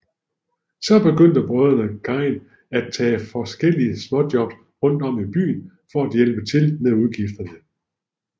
Så begyndte brødrene Gein at tage forskellige småjobs rundt om i byen for at hjælpe til med udgifterne